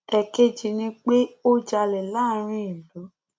èkejì ni pé ó jalè láàrin ìlú